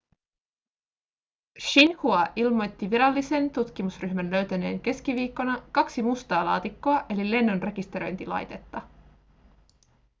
xinhua ilmoitti virallisen tutkimusryhmän löytäneen keskiviikkona kaksi mustaa laatikkoa eli lennonrekisteröintilaitetta